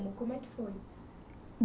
Como é que foi?